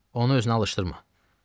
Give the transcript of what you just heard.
Onu özünə alışdırma.